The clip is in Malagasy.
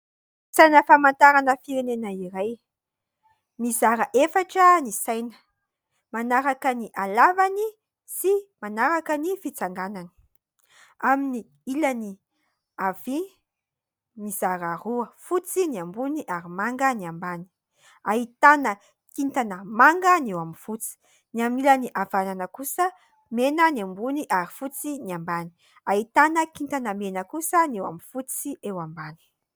Saina famantarana firenena iray, mizara efatra ny saina manaraka ny halavany sy manaraka ny fitsanganany : amin'ny ilany havia mizara roa fotsy ny ambony ary manga, ny ambany ahitana kintana manga ny eo amin'ny fotsy, ny amin'ny ilany havanana kosa mena ny ambony ary fotsy ny ambany, ahitana kintana mena kosa ny eo amin'ny fotsy eo ambany.